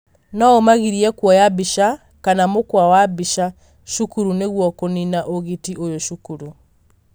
no ũmagirie kuoya mbica kana mũkwa wa mbĩca cukuru nĩguo kũnina ũgiti ũyũ cukuru.